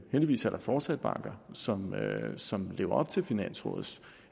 heldigvis er der fortsat banker som som lever op til finansrådets